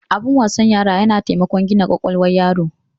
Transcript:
Abin wasan yara yana taimakon gina kwakwalwar yaro.